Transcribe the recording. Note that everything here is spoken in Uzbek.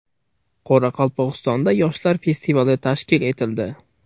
Qoraqalpog‘istonda yoshlar festival tashkil etildi.